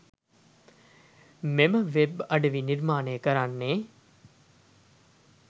මෙම වෙබ් අඩවි නිර්මාණය කරන්නේ